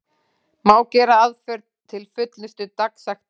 Má gera aðför til fullnustu dagsektanna.